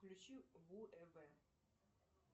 включи ву